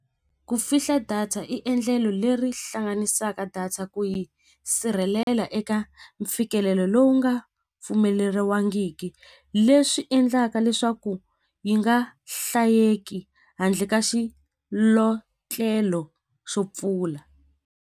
Ku fihla data i endlelo leri hlanganisaka data ku yi sirhelela eka mfikelelo lowu nga pfumeleriwangiki leswi endlaka leswaku yi nga hlayeki handle ka xilotlela xo pfula.